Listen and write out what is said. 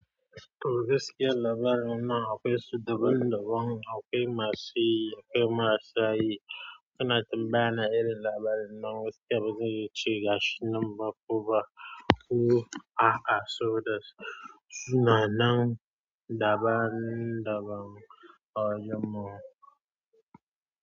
Wurin gaskiyar labarin nan akwai su daban daban, akwai masu yi, akwai masu yi. Kina tambaya na irin labarin nan gaskiya bazai yace gashi nan ba kuma. Hu aa a so da suna nan daban daban a yamma.